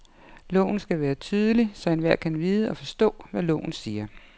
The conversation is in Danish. Loven skal være tydelig, så enhver kan vide og forstå, hvad loven siger.